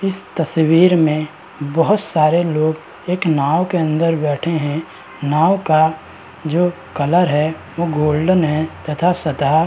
इस तस्वीर में बहोत सारे लोग एक नाव के अंदर बैठे हैं। नाव का जो कलर है वो गोल्डन है तथा सतह --